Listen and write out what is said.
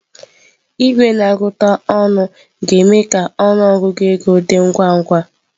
Igwe na-agụta ọnụ ga-eme ka ọnụ ọgụgụ ego dị ngwa ngwa.